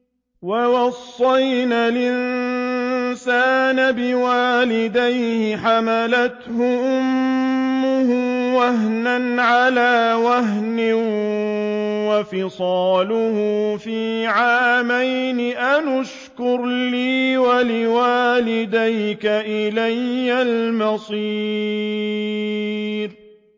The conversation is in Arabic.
وَوَصَّيْنَا الْإِنسَانَ بِوَالِدَيْهِ حَمَلَتْهُ أُمُّهُ وَهْنًا عَلَىٰ وَهْنٍ وَفِصَالُهُ فِي عَامَيْنِ أَنِ اشْكُرْ لِي وَلِوَالِدَيْكَ إِلَيَّ الْمَصِيرُ